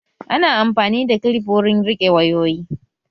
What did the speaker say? Ana amfani da kilif wurin riƙe wayoyi